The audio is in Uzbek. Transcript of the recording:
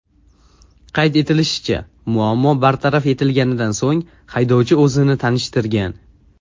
Qayd etilishicha, muammo bartaraf etilganidan so‘ng haydovchi o‘zini tanishtirgan.